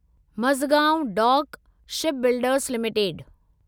Mazagon dock shipbuilders limited